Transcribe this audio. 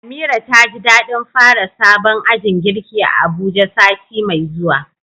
Amira taji dadin fara sabon ajin girki a Abuja sati mai zuwa.